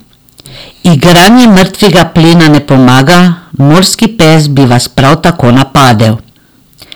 Igranje mrtvega plena ne pomaga, morski pes bi vas prav tako napadel.